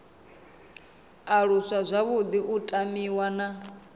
aluswa zwavhuḓi u tamiwa na